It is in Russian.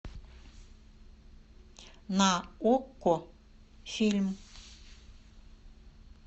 на окко фильм